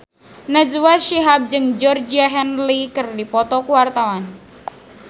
Najwa Shihab jeung Georgie Henley keur dipoto ku wartawan